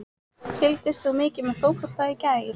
Fylgist þú mikið með fótbolta í dag?